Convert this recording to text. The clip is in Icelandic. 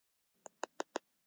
Steinborg, hækkaðu í græjunum.